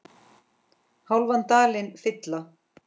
hálfan dalinn fylla